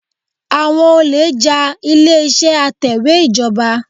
Àwọn olè já ilé-ìṣẹ́ atẹ̀wẹ́ ìjọba.